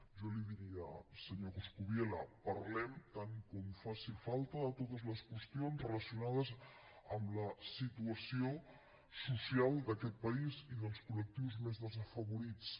jo li diria senyor coscubiela parlem tant com faci falta de totes les qüestions relacionades amb la situació social d’aquest país i dels col·lectius més desafavorits